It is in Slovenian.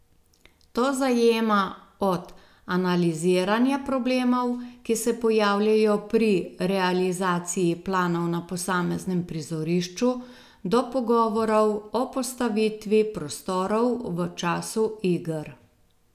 To zajema od analiziranja problemov, ki se pojavljajo pri realizaciji planov na posameznem prizorišču, do pogovorov o postavitvi prostorov v času iger.